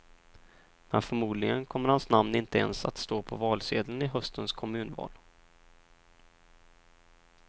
Men förmodligen kommer hans namn inte ens att stå på valsedeln i höstens kommunalval.